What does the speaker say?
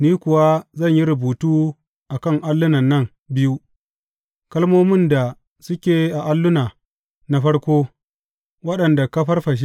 Ni kuwa zan yi rubutu a kan allunan nan biyu, kalmomin da suke a alluna na farko, waɗanda ka farfashe.